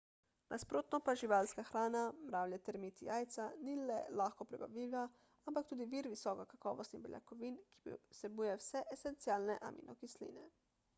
nasprotno pa živalska hrana mravlje termiti jajca ni le lahko prebavljiva ampak tudi vir visokokakovostnih beljakovin ki vsebuje vse esencialne aminokisline